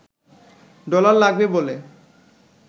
dollar লাগবে বলে